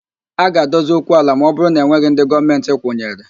A ga-adozi okwu ala ma ọ bụrụ na enweghị ndị Gọọmentị kwụnyere